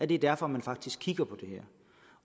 det er derfor man faktisk kigger på det her